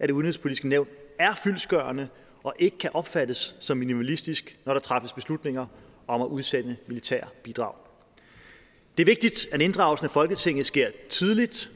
af det udenrigspolitiske nævn er fyldestgørende og ikke kan opfattes som minimalistisk når der træffes beslutninger om at udsende militære bidrag det er vigtigt at inddragelsen af folketinget sker tidligt